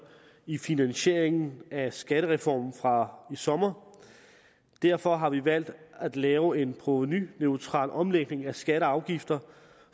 i finansieringen af skattereformen fra i sommer og derfor har vi valgt at lave en provenuneutral omlægning af skatter og afgifter